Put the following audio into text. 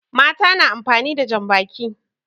Mata na amfani da jan baki